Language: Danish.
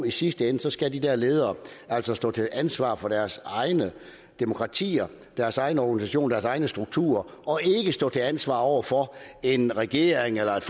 i sidste ende skal de der ledere altså stå til ansvar over for deres egne demokratier deres egne organisationer deres egne strukturer og ikke stå til ansvar over for en regering eller et